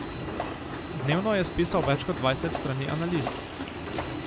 Dnevno je spisal več kot dvajset strani analiz.